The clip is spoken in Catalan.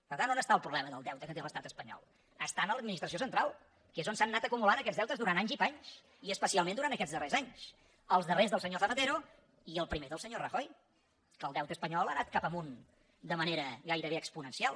per tant on està el problema del deute que té l’estat espanyol està a l’administració central que és on s’han anat acumulant aquests deutes durant anys i panys i especialment durant aquests darrers anys els darrers del senyor zapatero i el primer del senyor rajoy que el deute espanyol ha anat cap amunt de manera gairebé exponencial